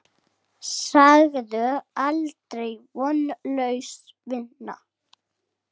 Segðu aldrei: Vonlaus vinna!